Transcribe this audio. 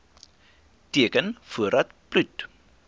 teken voordat bloed